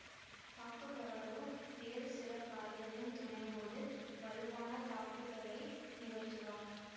தாக்குபவரோ வேறு சில காய்களின் துணையோடு வலுவான தாக்குதலை நிகழ்த்துவார்